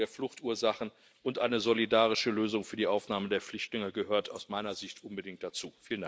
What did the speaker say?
Die Bekämpfung der Fluchtursachen und eine solidarische Lösung für die Aufnahme der Flüchtlinge gehört aus meiner Sicht unbedingt dazu.